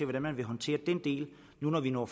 hvordan man vil håndtere den del når vi når